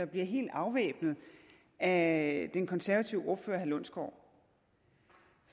bliver helt afvæbnet af den konservative ordfører herre lundsgaard